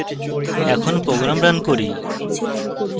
এখন program run করি